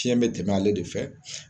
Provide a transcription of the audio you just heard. Fiɲɛ be tɛmɛ ale de fɛ